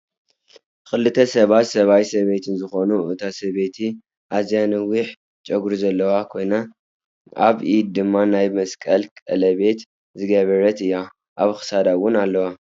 ክልተ ባት ሰብኣይ ሰበይቲን ዝኮኑ እታ ሰበይቲ ኣዝዩ ነዊሕ ጨጉሪዘለዋ ኮይናኣበ ኢዳ ድማ ናይ መስቀል ቀለቤት ዝገበረት እያ። ኣብ ክሳዳ እውን ኣለዋ።